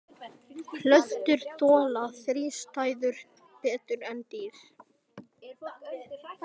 Plöntur þola þrístæður betur en dýr.